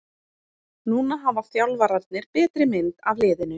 Núna hafa þjálfararnir betri mynd af liðinu.